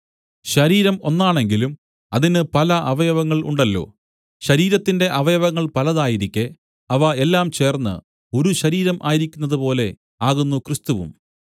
ശരീരം ഒന്നാണെങ്കിലും അതിന് പല അവയവങ്ങൾ ഉണ്ടല്ലോ ശരീരത്തിന്റെ അവയവങ്ങൾ പലതായിരിക്കെ അവ എല്ലാം ചേർന്ന് ഒരു ശരീരം ആയിരിക്കുന്നതുപോലെ ആകുന്നു ക്രിസ്തുവും